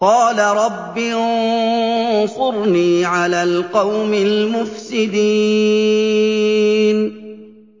قَالَ رَبِّ انصُرْنِي عَلَى الْقَوْمِ الْمُفْسِدِينَ